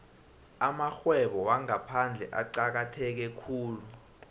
amarhwebo wangaphandle acakatheke khulu